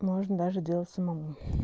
можно даже делать самому